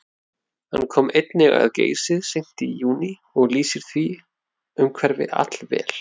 Hann kom einnig að Geysi seint í júní og lýsir því umhverfi allvel.